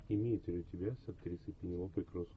имеется ли у тебя с актрисой пенелопой крус